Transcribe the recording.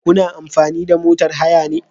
Kuna amfani da motar haya ne?